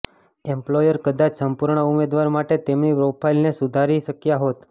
employer કદાચ સંપૂર્ણ ઉમેદવાર માટે તેમની પ્રોફાઇલને સુધારી શક્યા હોત